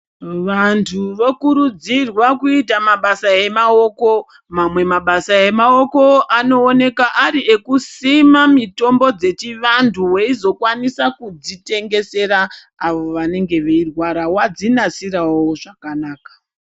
Vantu vokurudzirwa kuita mabasa emaoko, mamwe mabasa emaoko anooneka ari ekusima mitombo dzechiantu weizokwanisa kudzitengesera avo vanenge veirwara wadzinasirawo zvakanaka.